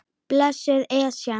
Blessuð Esjan.